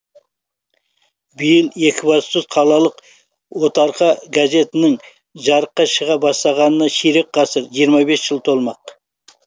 биыл екібастұз қалалық отарқа газетінің жарыққа шыға бастағанына ширек ғасыр жиырма бес жыл толмақ